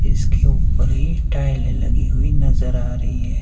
इसके ऊपर ही टाइलें लगी हुई नजर आ रही है।